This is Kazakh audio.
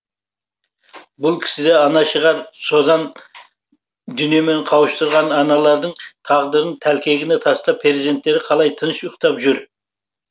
бұл кісіде ана шығар созан дүниемен қауыштырған аналардың тағдырдың тәлкегіне тастап перзенттері қалай тыныш ұйықтап жүр